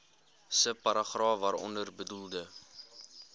subparagraaf waaronder bedoelde